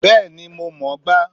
Bẹ́ẹ̀ni, mo mọ̀ ọ́n gbá